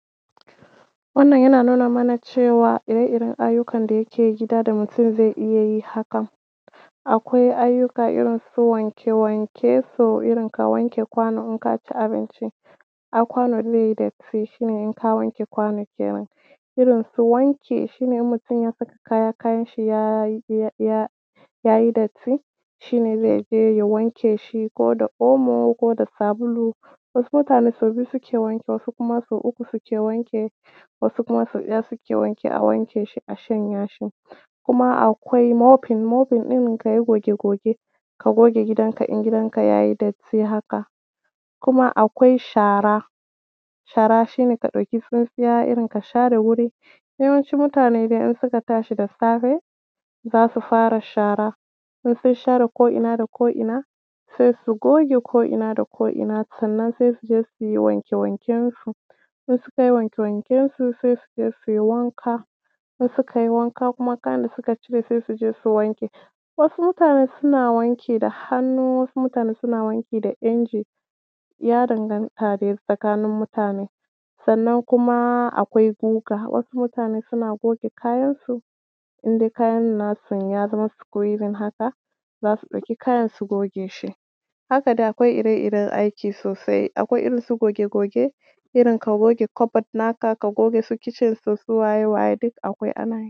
Wannan yana nuna mana cewa, ire-iren ayyukan da yake gida da mutum zai iya yi haka, akwai ayyuka irin su wanke-wanke, so irin ka wanke kwano in ka ci abinci, ai kwanon zai yi datti, shi ne in ka wanke kwano kenan, irin su wanke, shi ne in mutum ya saka kayanshi ya yi datti, shi ne zai zo, ya wanke shi ko da omo ko da sabulu. Wasu mutane sau biyu suke wanki, wasu kuma sau uku suke wanki, wasu kuma sau ɗaya suke wani, a wanke shi, a shanya shi. Kuma akwai mopping, mopping irin ka yi goge-goge, ka goge gidanka in ya yi datti haka. Kuma akwai shara, shara shi ne ka ɗauki tsintsiya, irin ka share wuri. Yawanci dai in mutane suka tashi da safe, za su fara shara, in sun shar ko ina da ko ina, sai su goge ko ina da ko ina, sannan sai su je su yi wanke-wankensu, in suka yiwanke-wankensu sai su zo, su yi wanka, in suka yi wanka kuma, kayan da suka cire, su je su wanke. Wasu mutanen suna wanki da hannu, wasu mutanen suna wanki da inji, ya danganta dai tsakanin mutane. Sannan kuma akwai guga, wasu mutane sun agoge kayansu, in dai kayan nasu ya zama squeezing haka, za su ɗauki kayan, su goge shi. Haka dai akwai ire-iren aiki sosai: akwai irin su goge-goge, irin ka goge cupboard naka, ka goge su kitchen su, su waye, waye, duk akwai, ana yi.